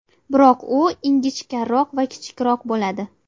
Biroq u ingichkaroq va kichikroq bo‘ladi.